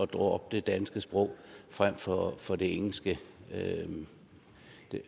droppe det danske sprog frem for for det engelske